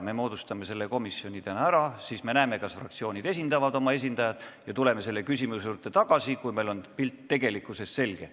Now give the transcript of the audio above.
Me moodustame selle komisjoni täna ära, siis me näeme, kas fraktsioonid esitavad oma esindajad, ja tuleme selle küsimuse juurde tagasi, kui meil on tegelik pilt selge.